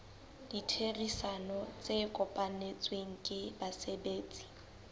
ditherisano tse kopanetsweng ke basebetsi